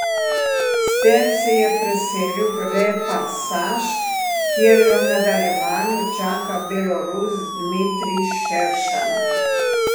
S tem se je preselil v repasaž, kjer ga v nadaljevanju čaka Belorus Dmitrij Šeršan.